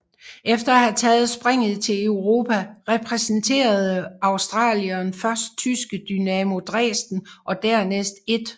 Efter at have taget springet til Europa repræsenterede australieren først tyske Dynamo Dresden og dernæst 1